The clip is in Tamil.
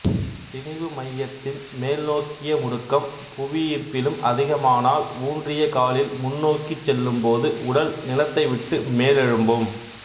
திணிவு மையத்தின் மேல் நோக்கிய முடுக்கம் புவியீர்ப்பிலும் அதிகமானால் ஊன்றிய காலில் முன்னோக்கிச் செல்லும்போது உடல் நிலத்தை விட்டு மேலெழும்பும்